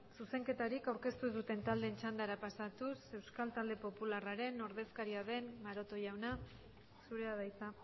zuzenketarik aurkeztu ez duten taldeen txandara pasatuz euskal talde popularraren ordezkaria den maroto jauna zurea da hitza